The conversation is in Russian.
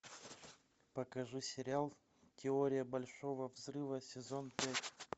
покажи сериал теория большого взрыва сезон пять